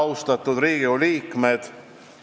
Head Riigikogu liikmed!